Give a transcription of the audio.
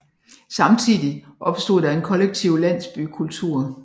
Samtidigt opstod der en kollektiv landsbykultur